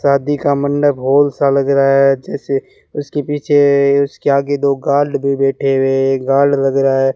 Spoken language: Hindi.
शादी का मंडप हॉल सा लग रहा है जैसे उसके पीछे उसके आगे दो गार्ड भी बैठे हुए है एक गार्ड लग रहा है।